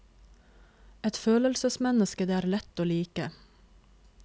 Et følelsesmenneske det er lett å like.